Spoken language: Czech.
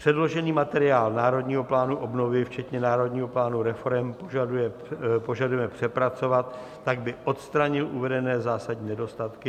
Předložený materiál Národního plánu obnovy včetně Národního plánu reforem požadujeme přepracovat tak, aby odstranil uvedené zásadní nedostatky.